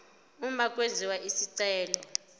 uma kwenziwa isicelo